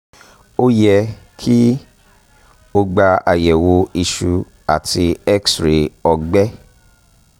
o yẹ ki o gba ayẹwo iṣu ati x-ray ọgbẹ